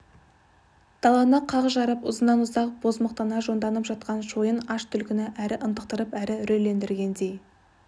даланы қақ жарып ұзыннан-ұзақ бозамықтана жонданып жатқан шойын жол аш түлкіні әрі ынтықтырып әрі үрейлендіргендей